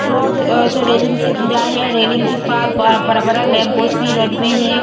Road अच्छा railing से घिरा है रेलिंग के पास बा बड़ा-बड़ा लैंप पोस्ट भी रोड में है।